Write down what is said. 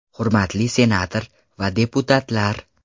Hurmatli senator va deputatlar!